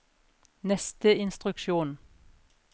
neste instruksjon